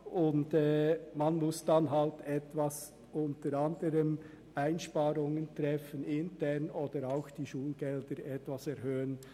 Die Schulen müssen dann eben Einsparungen vornehmen oder die Schulgelder etwas erhöhen.